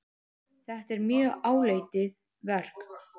Þetta er mjög áleitið verk.